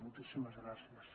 moltíssimes gràcies